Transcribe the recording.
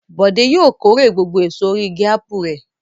Bọ̀dé yóò kórè gbogbo èso orí igi ápù rẹ̀.